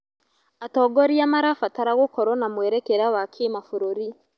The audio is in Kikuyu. Atongoria marabatara gũkorwo na mwerekera wa kĩmabũrũri.